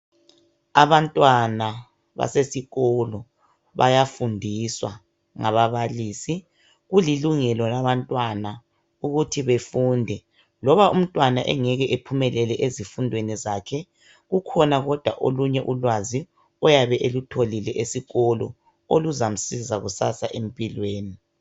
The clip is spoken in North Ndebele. Abantwana basesikolo bayafundiswa ngababalisi. Kulilungelo labantwana ukuthi befunde. Loba umntwana engeke ephumelele ezifundweni zakhe, kukhona kodwa olunye ulwazi ayabe elutholile esikolo oluzamsiza kusasa empilweni.